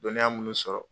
Dɔnniya minnu sɔrɔ